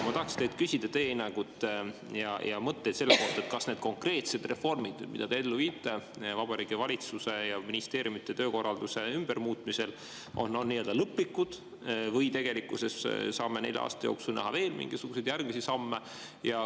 Ma tahaks teilt küsida teie hinnangut ja mõtteid selle kohta, kas need konkreetsed reformid, mida te ellu viite Vabariigi Valitsuse ja ministeeriumide töökorralduse muutmisel, on lõplikud või tegelikkuses saame nelja aasta jooksul näha veel mingisuguseid järgmisi samme.